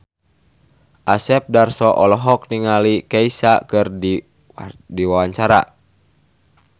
Asep Darso olohok ningali Kesha keur diwawancara